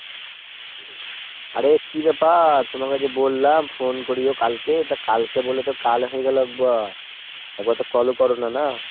আরে কী ব্যাপার ? তোমাকে যে বললাম phone করিও কালকে তো কালকে বলে তো কাল হয়ে গেল একবার। একবার তো call ও করোনা না ?